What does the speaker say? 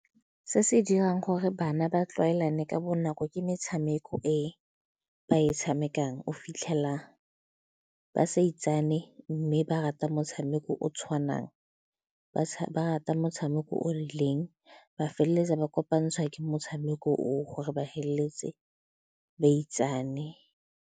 Se se dirang gore bana ba tlwaelane ka bonako ke metshameko e ba e tshamekang, o fitlhela ba sa itsane mme ba rata motshameko o o tshwanang, ba rata motshameko o o rileng, ba feleletsa ba kopantsha ke motshameko o gore ba feleletse ba itsane.